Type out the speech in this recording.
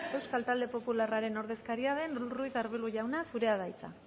euskal talde popularraren ordezkari den ruiz de arbulo jauna zurea da hitza